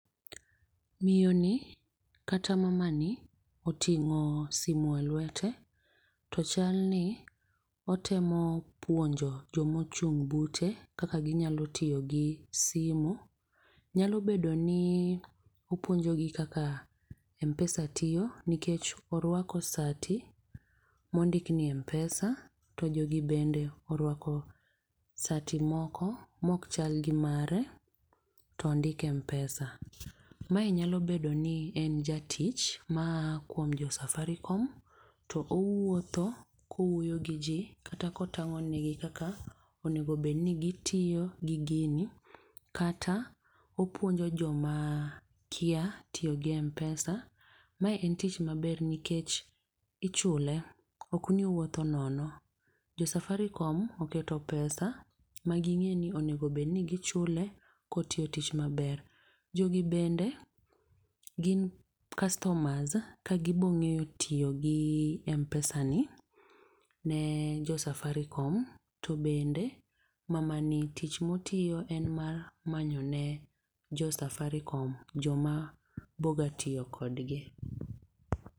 Miyo ni, kata mamani oting'o simo e lwete, to chal ni otemo puonjo jomochung' bute kaka ginyalo tiyogi simu. Nyalo bedo ni opuonjogi kaka M-Pesa tiyo nikech orwako sati mondikni M-Pesa. To jogi bende orwako sati moko mokchal gi mare to ondik M-Pesa. Ma inyalo bedo ni en jatich maa kuom Josafaricom, to owuotho kuwuoyo gi ji kata kotang'o nigi kaka onego obedni gitiyo gi gini. Kata opuonjo joma kia tiyo gi M-Pesa. Ma en tich maber nikech ichule ok ni owuotho nono. jo safaricom oketo pesa, ma ging'eni onego obedni gi chule kotiyo tich maber. Jogi bende gin customers ka gibong'eyo tiyogi M-Pesa ni ne jo Safaricom, to bende mamani tich motiyo en mar manyo ne jo Safaricom joma boga tiyo kodgi.